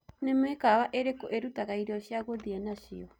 ni mĩkawaĩrĩkũ irutagaĩrĩo cĩa guthĩe nacio